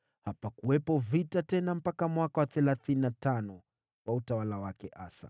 Hapakuwepo vita tena mpaka mwaka wa thelathini na tano wa utawala wake Asa.